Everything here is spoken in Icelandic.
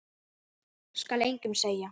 Skal engum segja.